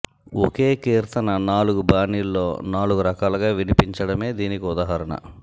ఒకే కీర్తన నాలుగు బాణీల్లో నాలుగు రకాలుగా వినిపించడమే దీనికి ఉదాహరణ